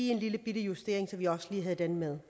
en lillebitte justering så vi også lige havde den med